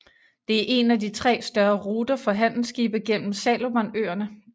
Det er en af tre større ruter for handelsskibe gennem Salomonøerne